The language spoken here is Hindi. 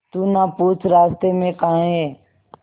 तू ना पूछ रास्तें में काहे